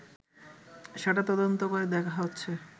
সেটা তদন্ত করে দেখা হচ্ছে